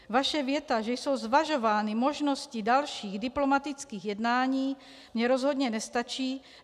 Vaše věta, že jsou zvažovány možnosti dalších diplomatických jednání, mně rozhodně nestačí.